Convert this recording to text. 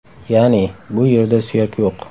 Ya’ni, bu yerda suyak yo‘q.